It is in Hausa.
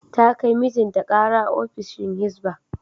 Ta kai mijinta kara ofishin Hizba.